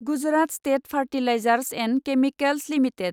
Gujarat state fertilizers and chemicals limited